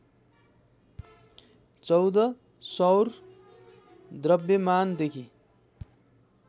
१४ सौर द्रव्यमानदेखि